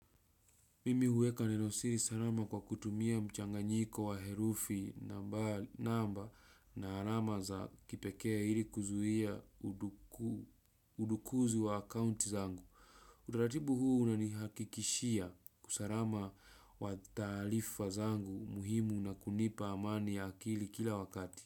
Mimi huweka neno siri salama kwa kutumia mchanganyiko wa herufi namba na alama za kipekee ili kuzuia udukuzi wa akounti zangu. Utaratibu huu unanihakikishia usalama wa taarifa wa zangu muhimu na kunipa amani ya akili kila wakati.